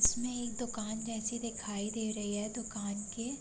उसमे एक दोकान जैसी दिखाई दे रही है दोकान के --